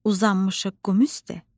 Uzanmışıq qum üstdə,